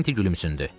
Karranti gülümsündü.